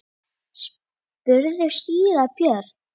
spurði síra Björn.